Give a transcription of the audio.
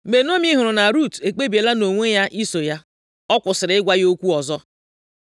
Mgbe Naomi hụrụ na Rut ekpebiela nʼime onwe ya iso ya, ọ kwụsịrị ịgwa ya okwu ọzọ.